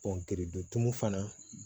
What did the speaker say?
dontu fana